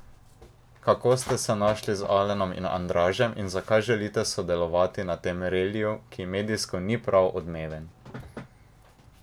Kako ste se našli z Alenom in Andražem in zakaj želite sodelovati na tem reliju, ki medijsko ni prav odmeven?